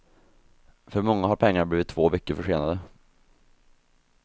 För många har pengarna blivit två veckor försenade.